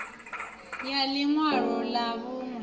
ya ḽi ṅwalo ḽa vhuṋe